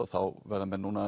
þá verða menn núna